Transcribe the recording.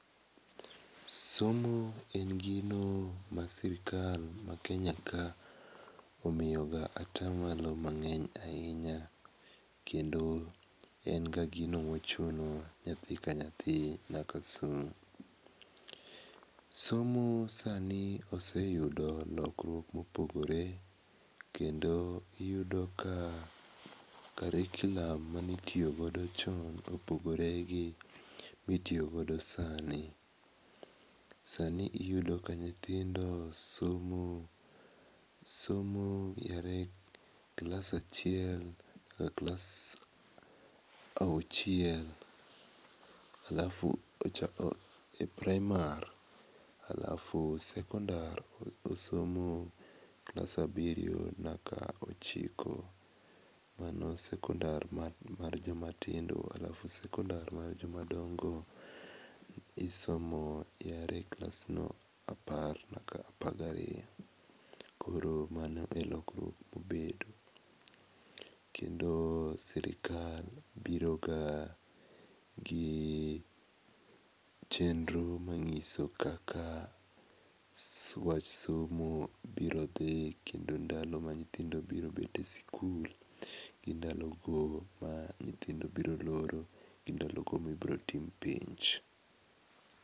Somo en gino masirkal ma Kenya ka omiyoga ata malo mang'eny ga ahinya kendo en ga gino mochuno. Nyathi ka nyathi nyaka som. Somo sani oseyudo lokruok mopogore kendo iyudo ka curriculum mane itiyo godo chon opogore gi mitiyo godo sani. Sani iyudo ka nyithindo somo, somo ae klas achiel nyaka klas auchiel alafu ochako e praimara alafu sekondar osomo klas abiriyo nyaka ochiko mano sekondar mar joma tindo alafu sekondar mar joma dongo chakre klas apar nyaka apar gariyo. Mano e lokruok ma osebedo kendo sirkal biro ka gi chenro manyiso kaka wach somo biro dhi kendo ndalo ma nyithindo biro bet e sikul gi ndalo ma nyithindo biro loro gi ndalo ma ibiro tim penj.